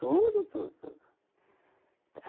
Tudo, tudo, tudo.